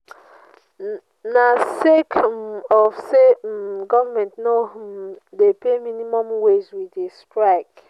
na sake um of say um government no um dey pay minimum wage we dey strike.